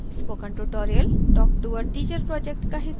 spoken tutorial talktoa teacher project का हिस्सा है